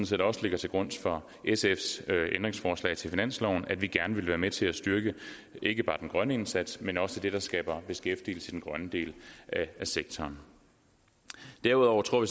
set også ligger til grund for sfs ændringsforslag til finansloven nemlig at vi gerne ville være med til at styrke ikke bare den grønne indsats men også det der skaber beskæftigelse i den grønne del af sektoren derudover tror